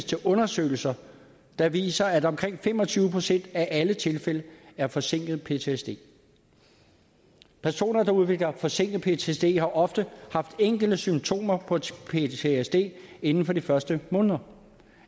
til undersøgelser der viser at omkring fem og tyve procent af alle ptsd tilfælde er forsinket ptsd personer der udvikler forsinket ptsd har oftest haft enkelte symptomer på ptsd inden for de første måneder